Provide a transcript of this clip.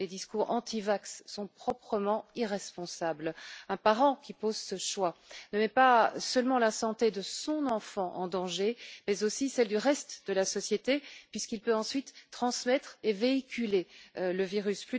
Les discours anti vaccins sont proprement irresponsables! Un parent qui fait ce choix ne met pas seulement la santé de son enfant en danger, mais aussi celle du reste de la société, puisque l'enfant peut ensuite transmettre et véhiculer le virus.